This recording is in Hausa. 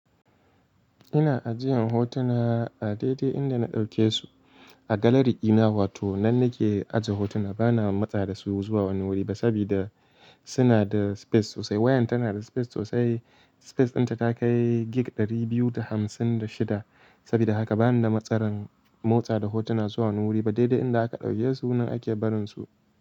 Ina ajiyan hotuna a daidai inda na ɗauke su a galari ina, wato nan nake aje hotuna bana matsa da su zuwa wani wuri ba sabida suna da space sosai. Wayan tana da space sosai. Space dinta ta kai gig 256 sabida haka bani da matsalan motsa da hotuna zuwa wani wuri ba. Daidai inda aka ɗauke su nan ake barin su.